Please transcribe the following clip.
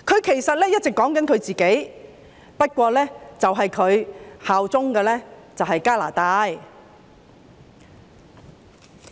其實，他一直在說自己，不過他效忠的是加拿大。